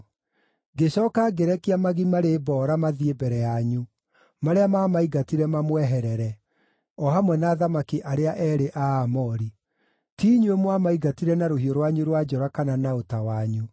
Ngĩcooka ngĩrekia magi marĩ mboora mathiĩ mbere yanyu, marĩa maamaingatire mamweherere, o hamwe na athamaki arĩa eerĩ a Aamori. Ti inyuĩ mwamaingatire na rũhiũ rwanyu rwa njora kana na ũta wanyu.